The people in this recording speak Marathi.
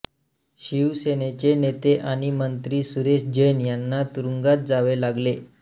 शिवसेनेचे नेते आणि मंत्री सुरेश जैन यांना तुरुंगात जावे लागले